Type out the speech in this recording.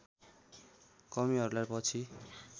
कमीहरूलाई पछि